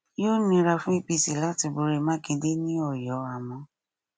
yóò nira fún apc láti borí mákindè ní ọyọ àmọ